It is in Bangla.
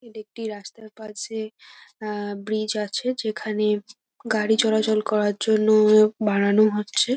এটি একটি রাস্তার কাছে আ ব্রিজ আছে যেখানে গাড়ি চলাচল করার জন্য বাড়ানো হচ্ছে ।